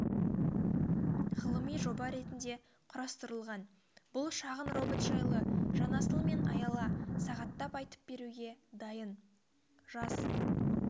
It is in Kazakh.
ғылыми жоба ретінде құрастырылған бұл шағын робот жайлы жанасыл мен аяла сағаттап айтып беруге дайын жас